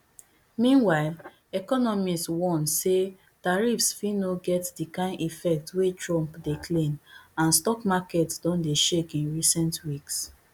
meanwhile economists warn say tariffs fit no get di kain effect wey trump dey claim and stock markets don dey shake in recent weeks